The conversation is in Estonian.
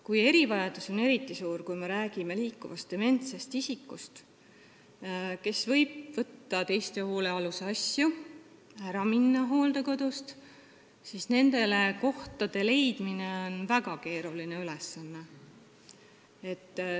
Kui erivajadus on eriti suur, kui me räägime näiteks liikuvatest dementsetest isikutest, kes võivad võtta teiste hoolealuste asju ja hooldekodust ära minna, siis nendele inimestele koha leidmine on väga keeruline ülesanne.